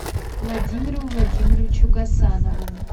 владимиру владимировичу гасанову